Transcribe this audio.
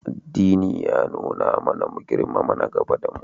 Addini ya nuna mana mu girmama nagaba da mu.